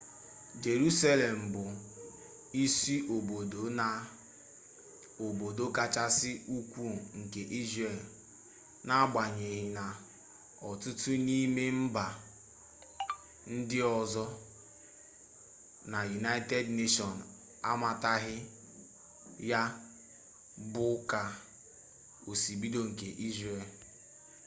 jerusalem bụ isiobodo na obodo kachasị ukwu nke israel n'agbanyeghị na ọtụtụ n'ime mba ndị ọzọ na united nations amataghị ya dị ka isiobodo nke israel